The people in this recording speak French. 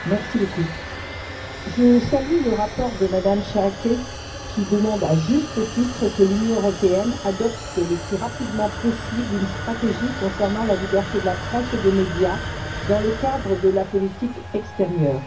Madame la Présidente, je salue le rapport de Mme Schaake, qui demande, à juste titre, que l'Union européenne adopte le plus rapidement possible une stratégie concernant la liberté de la presse et des médias dans le cadre de la politique extérieure.